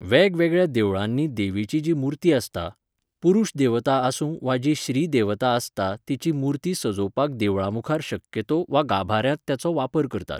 वेगवेगळ्यां देवळांनी देवीची जी मुर्ती आसता, पुरुश देवता आसूं वा जी श्री देवता आसता तेची मुर्ती सजोवपाक देवळां मुखार शक्यतो वा गाभाऱ्यांत तेचो वापरकरतात